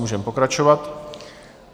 Můžeme pokračovat.